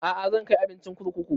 A'a zan kai abincin kurkuku